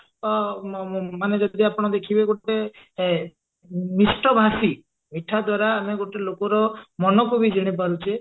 ଅ ମ ମାନେ ଯଦି ଆପଣ ଦେଖିବେ ଗୋଟେ ଏ ମିଷ୍ଟ ଭାଷି ମିଠା ଦ୍ଵାରା ଆମେ ଗୋଟେ ଲୋକର ମନକୁ ବି ଜିଣି ପାରୁଛେ